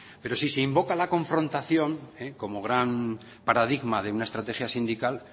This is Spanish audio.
pero si se invoca la confrontación como gran paradigma de una estrategia sindical